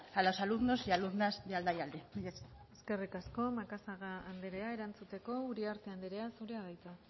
a los alumnos y alumnas de aldaialde mila esker eskerrik asko macazaga anderea erantzuteko uriarte anderea zurea da hitza